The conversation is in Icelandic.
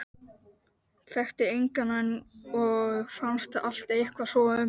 Þekkti engan og fannst allt eitthvað svo ömurlegt.